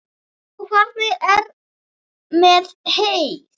Og hvernig er með heyið?